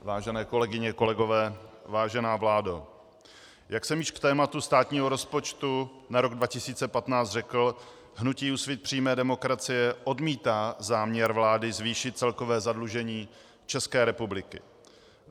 Vážené kolegyně, kolegové, vážená vládo, jak jsem již k tématu státního rozpočtu na rok 2015 řekl, hnutí Úsvit přímé demokracie odmítá záměr vlády zvýšit celkové zadlužení České republiky.